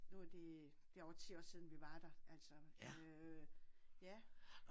Nu er det det er over 10 år siden vi var der altså øh ja